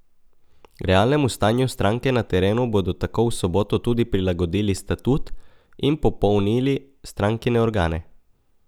Realnemu stanju stranke na terenu bodo tako v soboto tudi prilagodili statut in popolnili strankine organe.